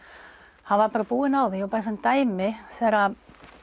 hann var bara búinn á því bara sem dæmi þegar